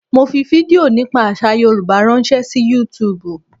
Mo fi fídíò nípa àsà Yorùbá ránṣẹ́ sí YouTube.